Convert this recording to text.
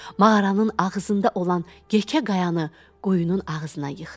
Mağaranın ağzında olan yekə qayanı qoyunun ağzına yıxdı.